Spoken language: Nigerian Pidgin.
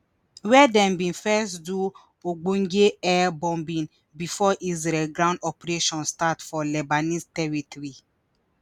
wia dem bin first do ogbonge air bombing bifor israeli ground operations start for lebanese territory